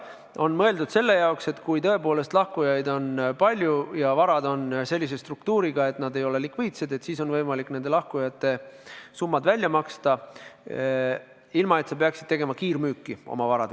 See on mõeldud selle jaoks, et kui tõepoolest lahkujaid on palju ja varad on sellise struktuuriga, et need ei ole likviidsed, siis on võimalik lahkujate summad välja maksta ilma, et fondid peaksid oma varad kiirmüüki panema.